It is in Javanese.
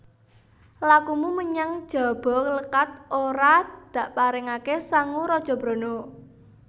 Lakumu menyang Jabalékat ora dakparengaké sangu raja brana